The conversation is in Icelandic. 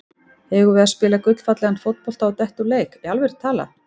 Eigum við að spila gullfallegan fótbolta og detta úr leik, í alvöru talað?